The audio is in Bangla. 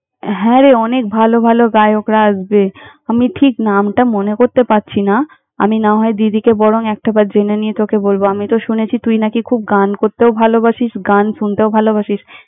হ্যাঁ রে, অনেক ভালো ভালো গায়করা আসবে। আমি ঠিক নামটা মনে করতে পারছি না। আমি না হয় দিদিকে বরং একটাবার জেনে নিয়ে তোকে বলব, আমি তো শুনেছি তুই নাকি খুব গান করতেও ভালোবাসিস, গান শুনতেও ভালোবাসিস।